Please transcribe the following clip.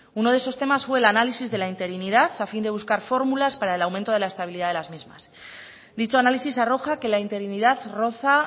uno de esos temas fue el análisis de la interinidad a fin de buscar fórmulas para el aumento de la estabilidad de las mismas dicho análisis arroja que la interinidad roza